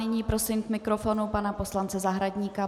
Nyní prosím k mikrofonu pana poslance Zahradníka.